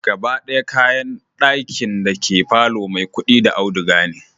Gaba d'aya kayan d'akin dake palor Maikudi da auduga ne